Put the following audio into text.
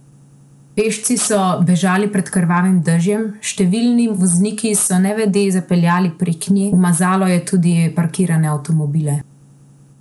Pešci so bežali pred krvavim dežjem, številni vozniki so nevede zapeljali prek nje, umazalo je tudi parkirane avtomobile.